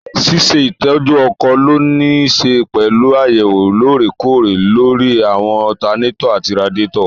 Ṣíṣe ìtọ́jú ọkọ̀ lónìí nííṣe pẹ̀lú àyẹ̀wò lóòrè kóòrè lóri àwọn ọtanátọ̀ àti radíàtọ̀